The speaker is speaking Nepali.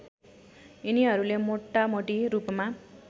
यिनीहरूले मोटामोटी रूपमा